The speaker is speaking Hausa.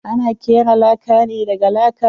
Ana kera laka ne daga laka.